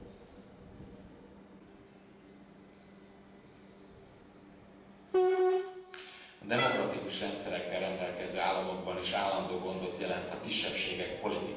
Elnök Úr! A demokratikus rendszerekkel rendelkező államokban is állandó gondot jelent a kisebbségek politikai érdekérvényesítő képességének hiánya, és az ebből fakadó konfliktusok.